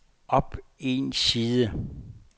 op en side